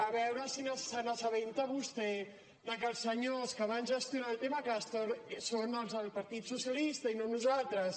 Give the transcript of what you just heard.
a veure si s’assabenta vostè de que els senyors que van gestionar el tema castor són els del partit socialista i no nosaltres